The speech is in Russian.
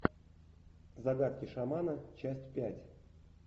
загадки шамана часть пять